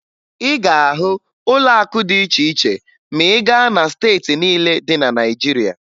Ị ga-ahụ ụlọakụ dị iche iche ma ị gaa na steeti niile dị na Naịjirịa